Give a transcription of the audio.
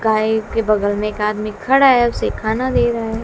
गाय के बगल में एक आदमी खड़ा है उसे खाना दे रहा है।